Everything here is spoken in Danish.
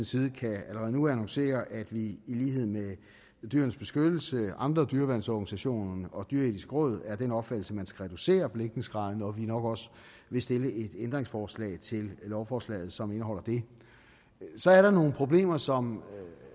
side allerede nu kan annoncere at vi i lighed med dyrenes beskyttelse og andre dyreværnsorganisationer og det dyreetiske råd er af den opfattelse at man skal reducere belægningsgraderne og at vi nok også vil stille et ændringsforslag til lovforslaget som indeholder det så er der nogle problemer som